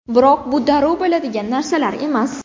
Biroq bu darrov bo‘ladigan narsalar emas.